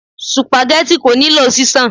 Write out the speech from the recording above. Supageti kò nílò ṣíṣan.